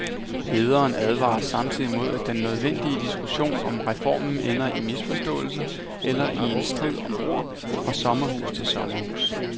Lederen advarer samtidig mod, at den nødvendige diskussion om reformen ender i misforståelser eller i en strid om ord fra sommerhus til sommerhus.